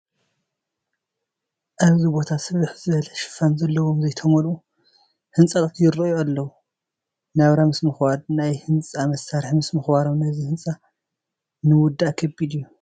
ኣብዚ ቦታ ስፍሕ ዝበለ ሽፋን ዘለዎም ዘይተመልኡ ህንፃታት ይርአዩ ኣለዉ፡፡ ናብራ ምስ ምኽባዱ ናይ ህንፃ መሳርሒ ምስ ምኽባሮም ነዚ ህንፃ ንምውዳእ ከቢድ እዩ፡፡